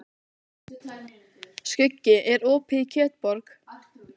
Skuggi, er opið í Kjötborg?